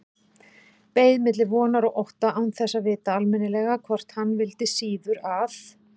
Beið milli vonar og ótta, án þess að vita almennilega hvort hann vildi síður að